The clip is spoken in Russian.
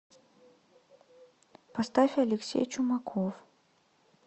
поставь алексей чумаков